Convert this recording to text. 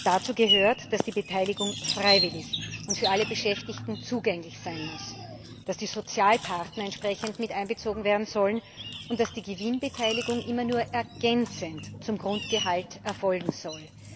Dazu gehört, dass die Beteiligung freiwillig und für alle Beschäftigten zugänglich sein muss, dass die Sozialpartner entsprechend miteinbezogen werden sollen und dass die Gewinnbeteiligung immer nur ergänzend zum Grundgehalt erfolgen soll.